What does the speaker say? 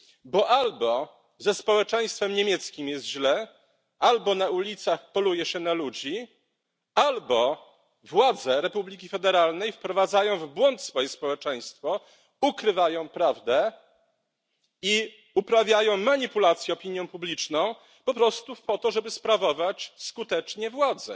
Bo albo ze społeczeństwem niemieckim jest źle, albo na ulicach poluje się na ludzi, albo władze Republiki Federalnej wprowadzają w błąd swoje społeczeństwo, ukrywają prawdę i uprawiają manipulację opinią publiczną po prostu po to, żeby sprawować skutecznie władzę.